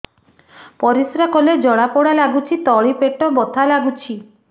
ପରିଶ୍ରା କଲେ ଜଳା ପୋଡା ଲାଗୁଚି ତଳି ପେଟ ବଥା ଲାଗୁଛି